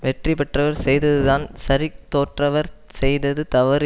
வெற்றி பெற்றவர் செய்ததுதான் சரி தோற்றவர் செய்தது தவறு